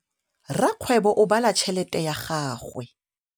Rakgwêbô o bala tšheletê ya gagwe.